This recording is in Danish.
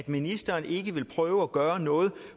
ministeren vil ikke prøve at gøre noget